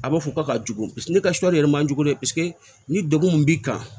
A b'a fɔ k'a ka jugu paseke ne ka sɔ yɛrɛ ma jugu dɛ paseke ni degun min b'i kan